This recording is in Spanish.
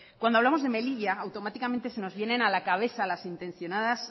cuando hablamos de melilla automáticamente se nos vienen a la cabeza las intencionadas